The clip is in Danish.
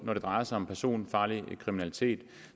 når det drejer sig om personfarlig kriminalitet